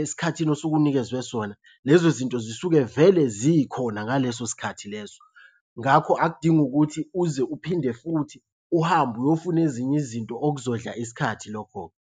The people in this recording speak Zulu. esikhathini osuke unikezwe sona lezo zinto zisuke vele zikhona ngaleso sikhathi leso. Ngakho akudingi ukuthi uze uphinde futhi uhambe uyofuna ezinye izinto okuzondla isikhathi lokho-ke.